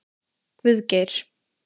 Guðgeir